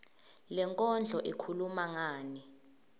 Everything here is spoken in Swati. lenkondlo ikhuluma ngani